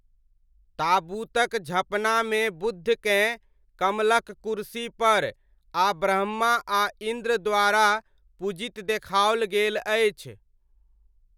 ताबूतक झँपनामे बुद्धकेँ कमलक कुरसीपर आ ब्रह्मा आ इन्द्र द्वारा पूजित देखाओल गेल अछि।